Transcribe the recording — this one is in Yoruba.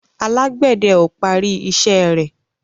Alágbède o parí iṣé rẹ